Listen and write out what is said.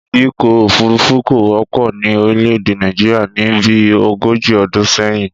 Ìdíkọ̀ òfúrufú kò wọ́pọ̀ ní orílè èdè Nàìjíríà ni bí ogójì ọdún sẹ́yìn